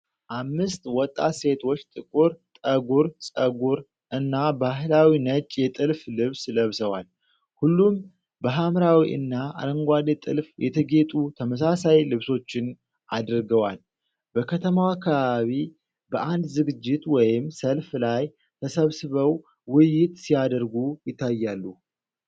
አምስት ወጣት ሴቶች ጥቁር ጠጉር ፀጉር እና ባህላዊ ነጭ የጥልፍ ልብስ ለብሰዋል። ሁሉም በሐምራዊ እና አረንጓዴ ጥልፍ የተጌጡ ተመሳሳይ ልብሶችን አድርገዋል። በከተማ አካባቢ በአንድ ዝግጅት ወይም ሰልፍ ላይ ተሰብስበው ውይይት ሲያደርጉ ይታያሉ።